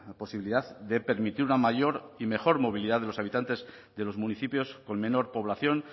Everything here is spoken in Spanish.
posibilidad de permitir una mayor y mejor movilidad de los habitantes de los municipios con menor población